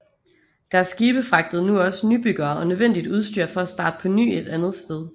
Deres skibe fragtede nu også nybyggere og nødvendigt udstyr for at starte på ny et andet sted